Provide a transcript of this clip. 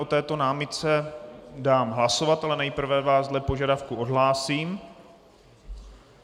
O této námitce dám hlasovat, ale nejprve vás dle požadavku odhlásím.